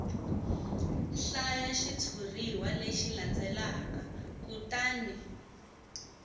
hlaya xitshuriwa lexi landzelaka kutani